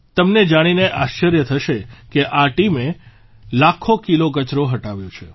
તમને જાણીને આશ્ચર્ય થશે કે આ ટીમે લાખો કિલો કચરો હટાવ્યો છે